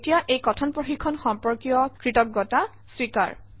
এতিয়া এই কথন প্ৰশিক্ষণ সম্পৰ্কীয় কৃতজ্ঞতা স্বীকাৰ